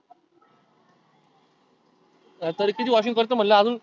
तरी किती washing करतो म्हणलं अजुन?